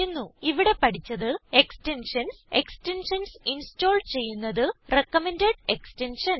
ഇവിടെ പഠിച്ചത് extensions extensions install ചെയ്യുന്നത് റികമെൻഡ് എക്സ്റ്റെൻഷൻസ്